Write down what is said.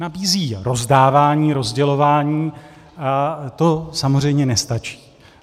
Nabízí rozdávání, rozdělování a to samozřejmě nestačí.